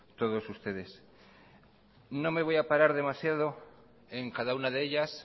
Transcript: todos ustedes no me voy a parar demasiadoen cada una de ellas